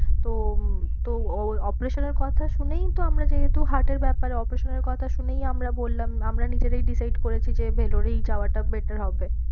তো তো ওর operation এর কথা শুনেই তো আমরা যেহেতু heart এর ব্যাপার operation এর কথা শুনেই আমরা বললাম আমরা নিজেরাই decide করেছি যে Vellore এই যাওয়াটা better হবে।